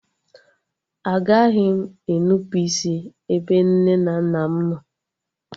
Agaghị m e nnupụisi ebe nne na nna m nọ